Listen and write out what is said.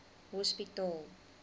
hospitaal